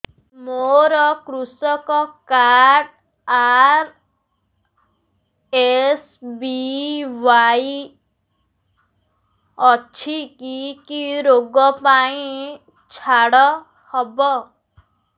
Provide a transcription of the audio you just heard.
ମୋର କୃଷି card RSBY ଅଛି କି କି ଋଗ ପାଇଁ ଛାଡ଼ ହବ